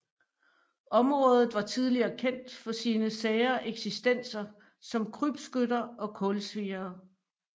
Området var tidligere kendt for sine sære eksistenser som krybskytter og kulsviere